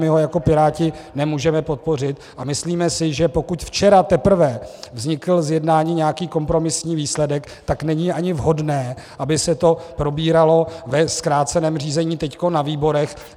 My ho jako Piráti nemůžeme podpořit a myslíme si, že pokud včera teprve vznikl z jednání nějaký kompromisní výsledek, tak není ani vhodné, aby se to probíralo ve zkráceném řízení teď na výborech.